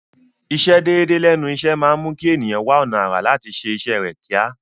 Ìsẹ déédéé lẹ́nu iṣẹ́ máa mú kí ẹ̀nìyàn wá ọ̀nà àrà láti ṣé iṣẹ́ rẹ̀ kíá.